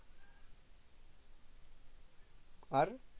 আর